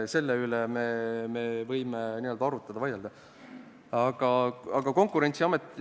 Selle üle võime arutleda, vaielda.